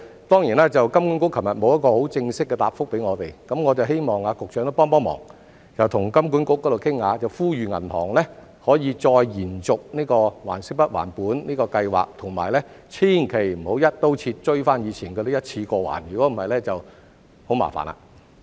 當然，金管局昨天沒有很正式的答覆給我們，所以我希望局長幫忙跟金管局商量，呼籲銀行再延續還息不還本的計劃，以及千萬不要"一刀切"追回以前那些欠款，要求一次過償還，否則便會很麻煩了。